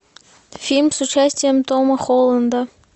фильм с участием тома холланда